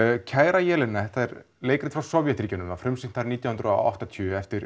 kæra Jelena þetta er leikrit frá Sovétríkjunum var frumsýnt þar nítján hundruð og áttatíu eftir